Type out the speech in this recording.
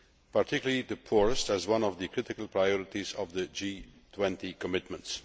particularly the poorest, as one of the critical priorities of the G20 commitments.